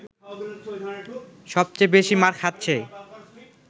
সব চেয়ে বেশি মার খাচ্ছে